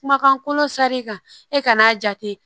Kumakan kolon sari kan e ka n'a jate